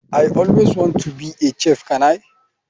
I always want to be a chef can i?